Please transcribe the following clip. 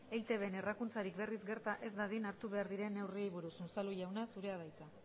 eitbn errakuntzarik berriz gerta ez dadin hartu behar diren neurriei buruz unzalu jauna zurea da hitza